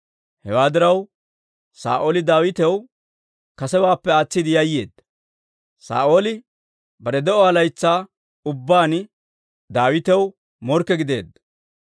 Hewaa diraw, Saa'ooli Daawitaw kasewaappe aatsiide yayyeedda. Saa'ooli bare de'uwaa laytsaa ubbaan Daawitaw morkke gideedda.